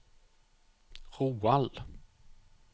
Roald